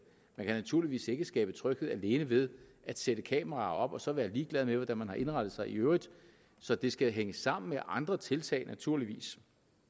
man kan naturligvis ikke skabe tryghed alene ved at sætte kameraer op og så være ligeglad med hvordan man har indrettet sig i øvrigt så det skal hænge sammen med andre tiltag naturligvis